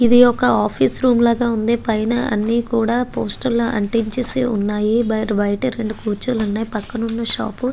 ఇది ఒక office room లాగా ఉంది. పైనా అన్నీ కూడా పోస్టర్ లు అంటించేసి వున్నాయి బైరు బయట రెండు కుర్చీలు ఉన్నాయి పక్కన వున్న షాపు --